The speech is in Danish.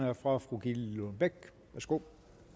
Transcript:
er fra fru gitte lillelund bech værsgo